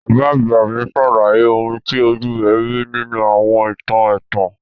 Bàbá àgbà mi sàlàyé oun ti ojú rẹ̀ ri nínú àwọn ìtàn ẹ̀tàn.